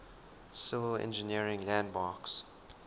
civil engineering landmarks